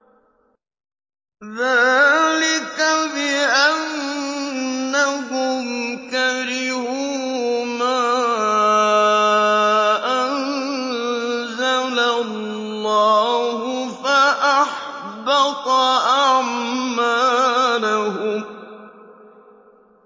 ذَٰلِكَ بِأَنَّهُمْ كَرِهُوا مَا أَنزَلَ اللَّهُ فَأَحْبَطَ أَعْمَالَهُمْ